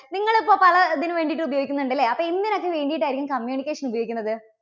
നിങ്ങള് ഇപ്പോ പല ഇതിനു വേണ്ടിയിട്ട് ഉപയോഗിക്കുന്നുണ്ട് അല്ലേ? അപ്പോ എന്തിനൊക്കെ വേണ്ടിയിട്ടായിരിക്കും communication ഉപയോഗിക്കുന്നത്?